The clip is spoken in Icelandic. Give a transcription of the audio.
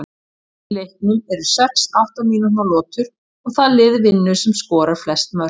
Í leiknum eru sex átta mínútna lotur og það lið vinnur sem skorar flest mörk.